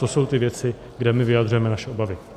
To jsou ty věci, kde my vyjadřujeme své obavy.